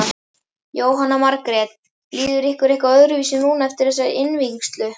Jóhanna Margrét: Líður ykkur eitthvað öðruvísi núna eftir þessa innvígslu?